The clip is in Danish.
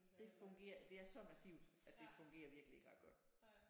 Det fungerer det er så massivt at det fungerer virkelig ikke ret godt